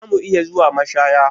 Za mu iya zuwa mashaya?